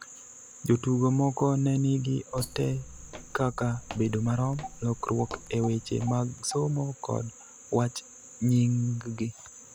Jotugo moko ne nigi ote kaka "Bedo marom," "Lokruok e weche mag somo" kod "Wach Nying'gi".